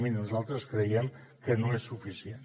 miri nosaltres creiem que no és suficient